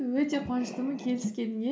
өте қуаныштымын келіскеніңе